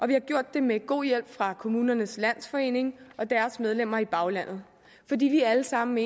vi har gjort det med god hjælp fra kommunernes landsforening og deres medlemmer i baglandet fordi vi alle sammen